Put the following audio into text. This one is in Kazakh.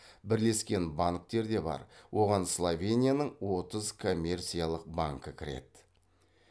бірлескен банктерде бар оған словенияның отыз коммерциялық банкі кіреді